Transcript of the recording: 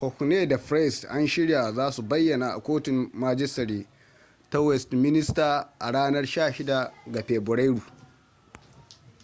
huhne da pryce an shirya za su bayyana a kotun majistare ta westminster a ranar 16 ga fabrairu